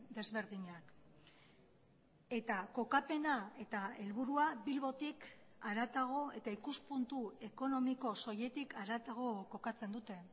desberdinak eta kokapena eta helburua bilbotik haratago eta ikuspuntu ekonomiko soiletik haratago kokatzen dute